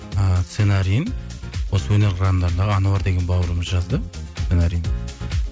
і сценариін осы өнер қырандарындағы ануар деген бауырымыз жазды сценариін